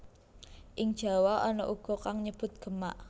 Ing Jawa ana uga kang nyebut Gemak